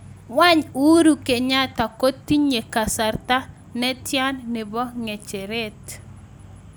Wany uhuru kenyatta kotinye kasarta netyan nepo kecheret